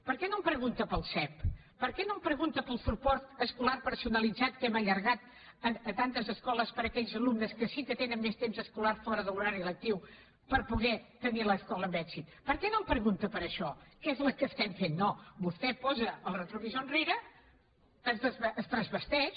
per què no em pregunta pel sep per què no em pregunta pel suport escolar personalitzat que hem allargat a tantes escoles per a aquells alumnes que sí que tenen més temps escolar fora de l’horari lectiu per poder tenir l’escola amb èxit per què no em pregunta per això que és el que fem no vostè posa el retrovisor enrere es transvesteix